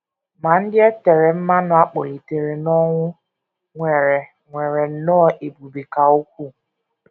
Ma ndị e tere mmanụ a kpọlitere n’ọnwụ nwere nwere nnọọ ebube ka ukwuu.